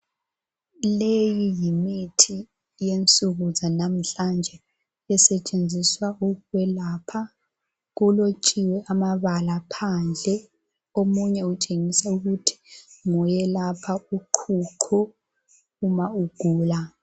Leyi yimithi yensuku zanamhlanje esetshenziswa ukwelapha. Kulotshiwe amabala phandle, omunye utshengisa ukuthi ngoyelapha uqhuqho ma ugula.